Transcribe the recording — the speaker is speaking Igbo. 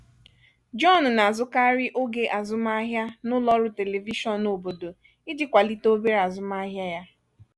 john na-azụkarị oge azụmahịa na ụlọ ọrụ telivishọn obodo iji kwalite obere azụmahịa ya.